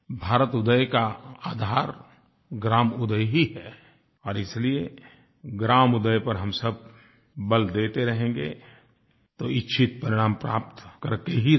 भारतउदय का आधार ग्रामउदय ही है और इसलिए ग्रामउदय पर हम सब बल देते रहेंगे तो इच्छित परिणाम प्राप्त करके ही रहेंगे